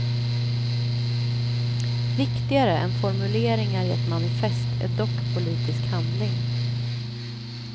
Viktigare än formuleringar i ett manifest är dock politisk handling.